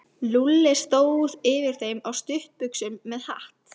Lúlli stóð yfir þeim á stuttbuxum með hatt.